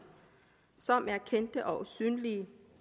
som er kendte og synlige